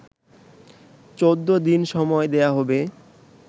১৪ দিন সময় দেয়া হবে